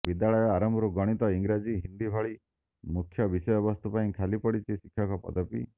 ବିଦ୍ୟାଳୟ ଆରମ୍ଭରୁ ଗଣିତ ଇଂରାଜୀ ହିନ୍ଦି ଭଳି ମୁଖ୍ୟ ବିଷୟବସ୍ତୁ ପାଇଁ ଖାଲି ପଡିଛି ଶିକ୍ଷକ ପଦବୀ